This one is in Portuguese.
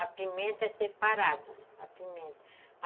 A pimenta é separada, a pimenta.